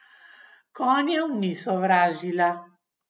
Konjev ni sovražila.